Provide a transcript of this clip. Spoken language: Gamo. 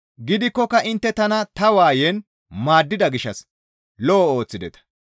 Gidikkoka intte tana ta waayen maaddida gishshas lo7o ooththideta.